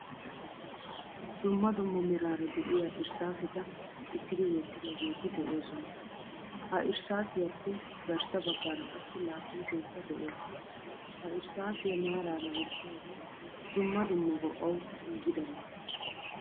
Dumma dumma merara deiya irssasetta cigidi wottidogetti deosona. Ha irsssiyappe garssa baggara qassi laaphphisekka de'ees. Ha irssasiyaa maarara wottoge dumma dumma go'awu giigidaba.